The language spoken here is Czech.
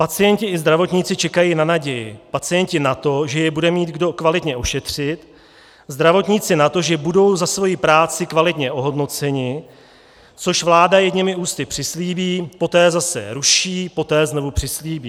Pacienti i zdravotníci čekají na naději, pacienti na to, že je bude mít kdo kvalitně ošetřit, zdravotníci na to, že budou za svoji práci kvalitně ohodnoceni, což vláda jedněmi ústy přislíbí, poté zase ruší, poté znovu přislíbí.